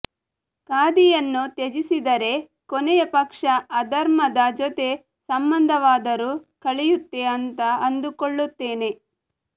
ಖಾದಿಯನ್ನು ತ್ಯಜಿಸಿದರೆ ಕೊನೆಯ ಪಕ್ಷ ಅಧರ್ಮದ ಜೊತೆ ಸಂಬಂಧವಾದರೂ ಕಳೆಯುತ್ತೆ ಅಂತ ಅಂದುಕೊಳ್ಳುತ್ತೇನೆ